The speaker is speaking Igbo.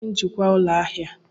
Kedụ onye njikwa ụlọ ahịa a?